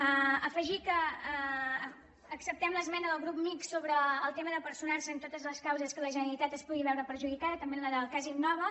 afegir que acceptem l’esmena del grup mixt sobre el tema de personar se en totes les causes en què la generalitat es pugui veure perjudicada també en la del cas innova